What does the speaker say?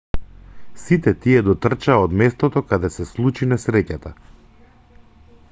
сите тие дотрчаа од местото каде се случи несреќата